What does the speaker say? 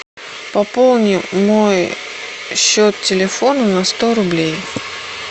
пополни мой счет телефона на сто рублей